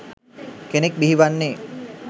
කෙනෙක් බිහි වන්නේ.